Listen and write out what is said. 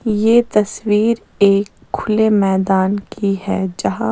ये तस्वीर एक खुले मैदान की है जहां --